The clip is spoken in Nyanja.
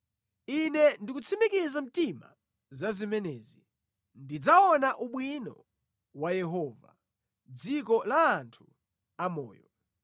Ine ndikutsimikiza mtima za zimenezi; ndidzaona ubwino wa Yehova mʼdziko la anthu amoyo.